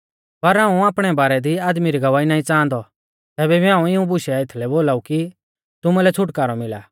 पर हाऊं आपणै बारै दी आदमी री गवाही नाईं च़ांहादौ तैबै भी हाऊं इऊं बुशै एथलै बोलाऊ कि तुमुलै छ़ुटकारौ मिला